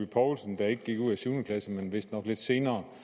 paulsen der ikke gik ud af syvende klasse men vist nok lidt senere